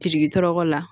Jigi tɔɔrɔ la